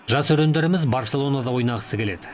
жас өрендеріміз барселонада ойнағысы келеді